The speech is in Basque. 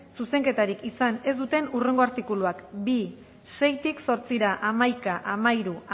zuzenketarik izan ez duten hurrengo artikuluak bi seitik zortzira hamaika hamairu